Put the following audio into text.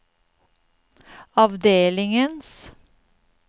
avdelingens